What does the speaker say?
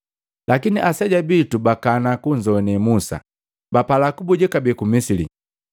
“Lakini aseja bitu bakana kunzogwane Musa, na bapala kubuja kabee ku Misili.